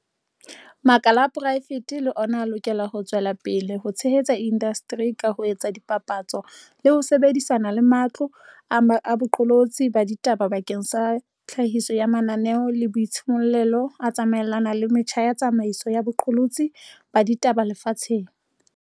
Makala a poraefete le ona a lokela ho tswela pele ho tshehetsa indasteri ka ho etsa dipapatso le ho sebedi sana le matlo a boqolotsi ba ditaba bakeng sa tlhahiso ya mananeo a boitshimollelo a tsamaelanang le metjha ya tsamaiso ya boqolotsi ba ditaba lefatsheng.